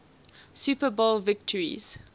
super bowl victories